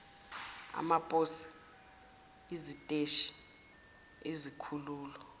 amaposi iziteshi izikhululo